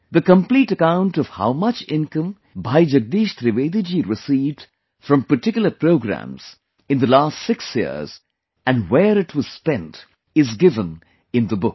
The complete account of how much income Bhai Jagdish Trivedi ji received from particular programs in the last 6 years and where it was spent is given in the book